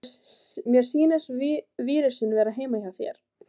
Mér sýnist vírusinn vera heima hjá þér.